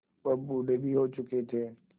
वह बूढ़े भी हो चुके थे